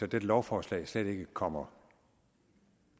dette lovforslag slet ikke kommer